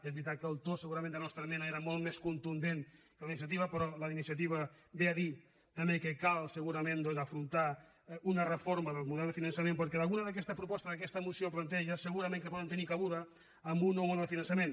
és veritat que el to segurament de la nostra esmena era molt més contundent que la d’iniciativa però la d’iniciativa ve a dir també que cal segurament doncs afrontar una reforma del model de finançament perquè algunes d’aquestes propostes que aquesta moció planteja segu·rament que poden tenir cabuda en un nou model de finançament